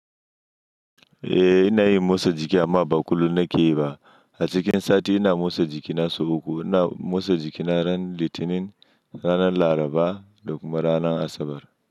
Eh ina yin motsa jiki amma ba kullum nake yi ba. A cikin sati ina motsa jikina sau uku. Ina motsa jikina ran Litinin, ranan Laraba da kuma ran Asabar.